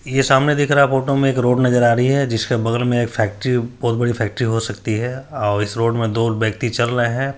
ये सामने दिख रहा फोटो में एक रोड नजर आ रही है जिसके बगल में एक फैक्ट्री बहुत बड़ी फैक्ट्री हो सकती है और इस रोड में दो व्यक्ति चल रहे हैं।